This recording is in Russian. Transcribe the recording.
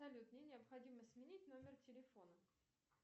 салют мне необходимо сменить номер телефона